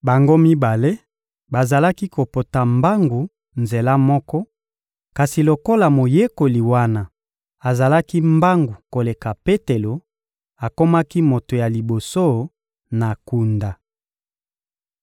Bango mibale bazalaki kopota mbangu nzela moko; kasi lokola moyekoli wana azalaki mbangu koleka Petelo, akomaki moto ya liboso na kunda.